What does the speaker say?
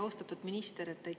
Austatud minister!